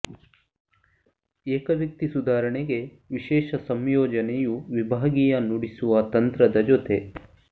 ಏಕವ್ಯಕ್ತಿ ಸುಧಾರಣೆಗೆ ವಿಶೇಷ ಸಂಯೋಜನೆಯು ವಿಭಾಗೀಯ ನುಡಿಸುವ ತಂತ್ರದ ಜೊತೆ